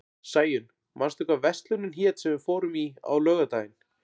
Sæunn, manstu hvað verslunin hét sem við fórum í á laugardaginn?